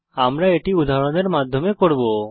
আমরা এটি উদাহরণের মাধ্যমে করব